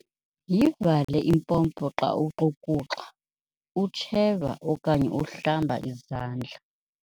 Yivale impompo xa uxukuxa, utsheva okanye uhlamba izandla.